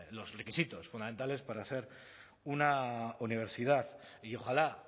los requisitos fundamentales para ser una universidad y ojalá